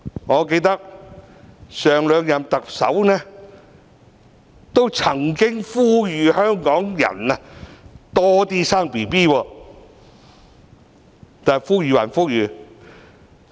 我記得上兩任特首都曾經呼籲香港人多生育，但呼籲歸呼籲......